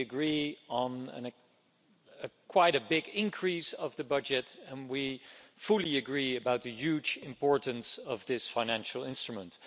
We agree on quite a big increase of the budget, and we fully agree about the huge importance of this financial instrument.